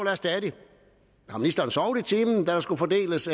er stadig har ministeren sovet i timen da der skulle fordeles